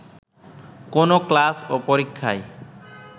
কোনো ক্লাস ও পরীক্ষায়